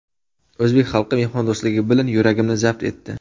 O‘zbek xalqi mehmondo‘stligi bilan yuragimni zabt etdi.